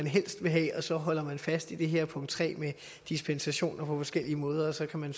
helst vil have og så holder man fast i det her punkt tre med dispensationer på forskellige måder og så kan man